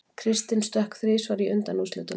Kristinn stökk þrisvar í undanúrslitunum